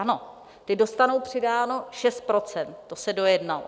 Ano, ti dostanou přidáno 6 %, to se dojednalo.